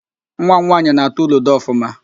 Nwa m nwaanyị na-atụ ludo ọfụma